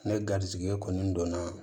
Ne garizigɛ kɔni don na